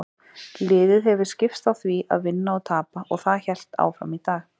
Liðið hefur skipst á því að vinna og tapa og það hélt áfram í dag.